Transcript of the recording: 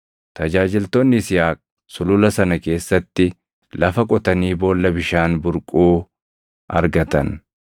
Tajaajiltoonni Yisihaaq sulula sana keessatti lafa qotanii boolla bishaan burquu argatan.